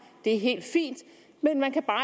det er helt fint men man kan bare